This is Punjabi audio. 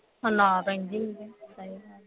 ਨਾਲ ਰਹਿੰਦੀ ਸੀ ਥੋਨੂੰ ਪਤਾ ਈ ਹੈ